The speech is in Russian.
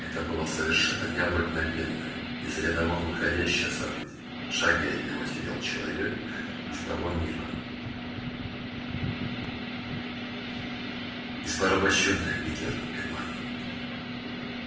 это было совершенно необыкновенное из ряда вон выходящее событие в шаге от него сидел человек из того мира из порабощённой гитлером германии